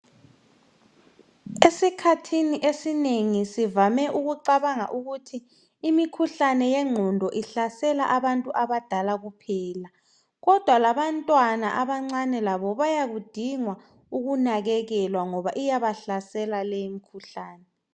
Esikhathini esinengi sivame ukucabanga ukuthi imikhuhlane yengqondo ihlasela abantu abadala kuphela kodwa labantwana abancane labo bayakudinga ukunakekelwa ngoba iyabahlasela le imikhuhlane.